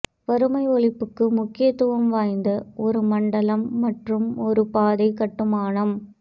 வறுமை ஒழிப்புக்கு முக்கியத்துவம் வாய்ந்த ஒரு மண்டலம் மற்றும் ஒரு பாதைக் கட்டுமானம்